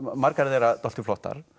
margar þeirra dálítið flottar